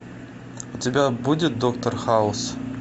у тебя будет доктор хаус